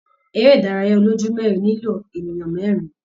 Ere idaraya oloju merin nilo eniyan merin.